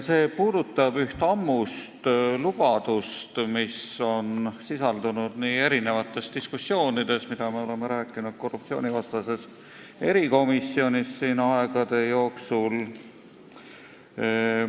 See puudutab üht ammust lubadust, mis on sisaldunud erinevates diskussioonides, mida me oleme korruptsioonivastases erikomisjonis aegade jooksul pidanud.